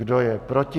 Kdo je proti?